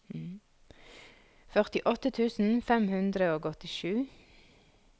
førtiåtte tusen fem hundre og åttisju